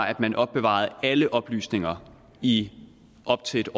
at man opbevarede alle oplysninger i op til